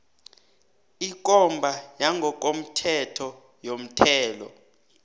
ikomba yangokomthetho yomthelo